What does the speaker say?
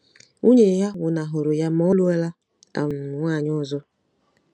Nwunye ya nwụnahụrụ ya ma ọ lụọla um nwaanyị ọzọ.